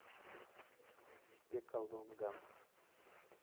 пекалонган